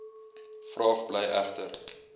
vraag bly egter